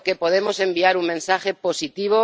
Creo que podemos enviar un mensaje positivo.